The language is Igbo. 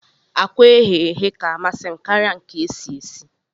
Akwa eghe eghe ka amasim karia nke esi esi